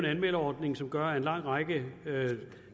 anmelderordning som gør at en lang række